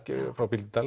frá Bíldudal